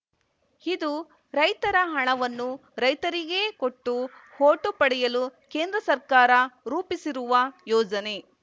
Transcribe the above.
ಇದು ರೈತರ ಹಣವನ್ನು ರೈತರಿಗೇ ಕೊಟ್ಟು ಓಟು ಪಡೆಯಲು ಕೇಂದ್ರ ಸರ್ಕಾರ ರೂಪಿಸಿರುವ ಯೋಜನೆ